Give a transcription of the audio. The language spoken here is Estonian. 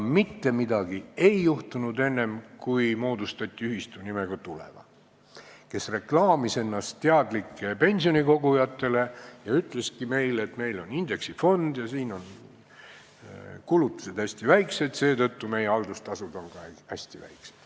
Mitte midagi aga ei juhtunud enne, kui moodustati ühistu nimega Tuleva, kes reklaamis ennast teadlike pensionikogujate seas ja ütleski meile, et neil on indeksifond, kulutused on hästi väiksed ja seetõttu on ka nende haldustasud hästi väiksed.